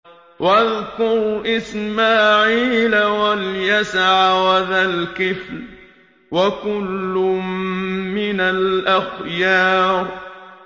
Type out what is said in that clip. وَاذْكُرْ إِسْمَاعِيلَ وَالْيَسَعَ وَذَا الْكِفْلِ ۖ وَكُلٌّ مِّنَ الْأَخْيَارِ